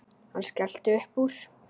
Hann skellti upp úr.